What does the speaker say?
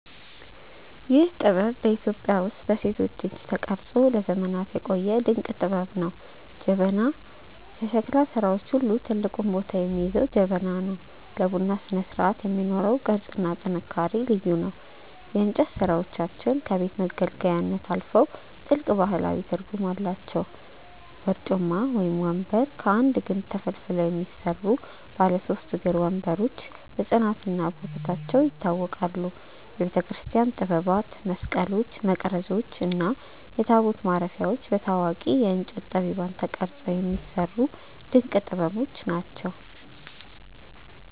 ይህ ጥበብ በኢትዮጵያ ውስጥ በሴቶች እጅ ተቀርጾ ለዘመናት የቆየ ድንቅ ጥበብ ነው። ጀበና፦ ከሸክላ ሥራዎች ሁሉ ትልቁን ቦታ የሚይዘው ጀበና ነው። ለቡና ስነስርዓት የሚኖረው ቅርጽና ጥንካሬ ልዩ ነው። የእንጨት ሥራዎቻችን ከቤት መገልገያነት አልፈው ጥልቅ ባህላዊ ትርጉም አላቸው። በርጩማ (ወንበር)፦ ከአንድ ግንድ ተፈልፍለው የሚሰሩ ባለ ሦስት እግር ወንበሮች በጽናትና በውበታቸው ይታወቃሉ። የቤተክርስቲያን ጥበባት፦ መስቀሎች፣ መቅረዞች እና ታቦት ማረፊያዎች በታዋቂ የእንጨት ጠቢባን ተቀርጸው የሚሰሩ ድንቅ ጥበቦች ናቸው።